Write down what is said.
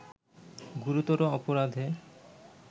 গুরুতর অপরাধে